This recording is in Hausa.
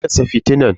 Me ya haddasa fitinan?